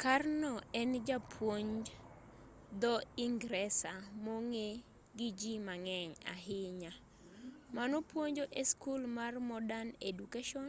karno en japuonj dho-ingresa mong'e gi ji mang'eny ahinya manopuonjo e skul mar modern education